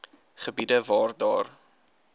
gebiede waar daar